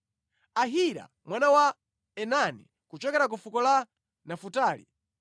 Ahira mwana wa Enani, kuchokera ku fuko la Nafutali.”